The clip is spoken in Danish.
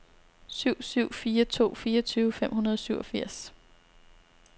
syv syv fire to fireogtyve fem hundrede og syvogfirs